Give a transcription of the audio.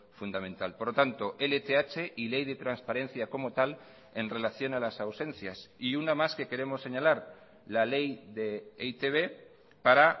fundamental por lo tanto lth y ley de transparencia como tal en relación a las ausencias y una más que queremos señalar la ley de e i te be para